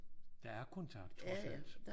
Der er kontakt trods alt